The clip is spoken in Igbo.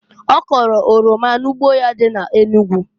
Ọ kọlụ oroma n'ugbo ya dị na Enugu.